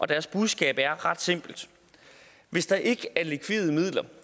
deres budskab er ret simpelt hvis der ikke er likvide midler